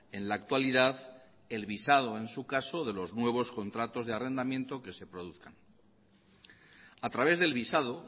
en la actualidad el visado en su caso de los nuevos contratos de arrendamiento que se produzcan a través del visado